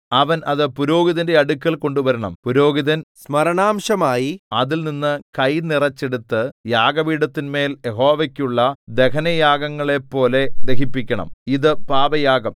അവൻ അത് പുരോഹിതന്റെ അടുക്കൽ കൊണ്ടുവരണം പുരോഹിതൻ സ്മരണാംശമായി അതിൽനിന്ന് കൈ നിറച്ചെടുത്ത് യാഗപീഠത്തിന്മേൽ യഹോവയ്ക്കുള്ള ദഹനയാഗങ്ങളെപ്പോലെ ദഹിപ്പിക്കണം ഇതു പാപയാഗം